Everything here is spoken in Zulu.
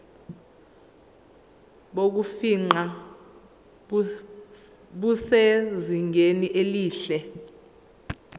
bokufingqa busezingeni elihle